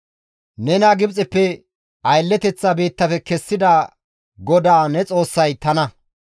«Nena Gibxeppe aylleteththa biittafe kessida GODAA ne Xoossay tana.